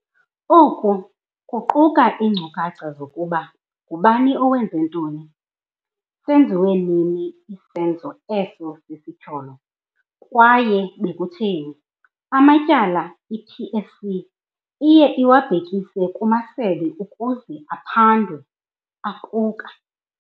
Oku kuquka iinkcukacha zokuba ngubani owenze ntoni, senziwe nini isenzo eso sesityholo, kwaye bekutheni. Amatyala i-PSC eye iwabhekise kumasebe ukuze aphandwe, aquka.